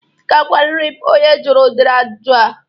Ị ga-agwarịrị m onye jụrụ ụdịrị agwụgwụ a